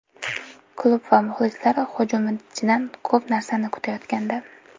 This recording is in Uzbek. Klub va muxlislar hujumchidan ko‘p narsani kutayotgandi.